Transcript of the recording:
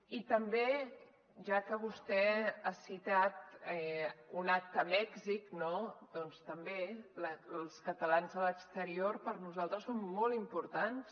i també ja que vostè ha citat un acte a mèxic no doncs també els catalans a l’exterior per nosaltres són molt importants